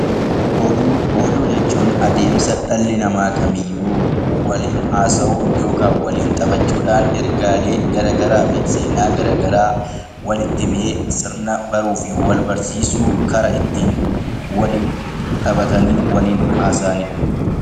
Oduu Oduu jechuun adeemsa dhalli namaa ta'e kamiyyuu waliin hasawuu yookaan waliin taphachuudhaan ergaalee garaagaraa fi seenaa walitti himee baruu fi wal barsiisuu karaa ittiin taphatanii waliin haasa'anidha.